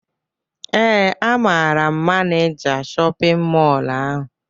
Ee, amaara m Maneja shọpịn mọlụ ahụ